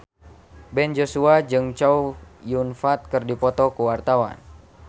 Ben Joshua jeung Chow Yun Fat keur dipoto ku wartawan